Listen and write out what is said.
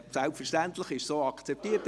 Selbstverständlich ist es so akzeptiert;